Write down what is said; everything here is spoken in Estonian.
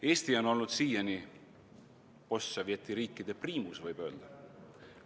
Eesti on olnud siiani postsovetiriikide priimus, võib öelda.